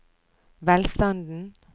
velstanden